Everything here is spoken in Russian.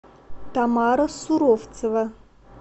тамара суровцева